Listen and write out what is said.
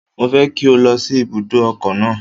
Mo fẹ́ kí o lọ sí ibùdó ọkọ̀ náà.